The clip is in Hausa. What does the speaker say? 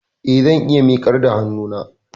Eh, zan iya miƙar da hannuna